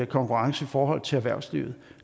konkurrence i forhold til erhvervslivet